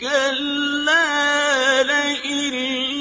كَلَّا لَئِن